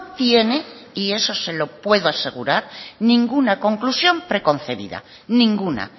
tiene y eso se lo puedo asegurar ninguna conclusión preconcebida ninguna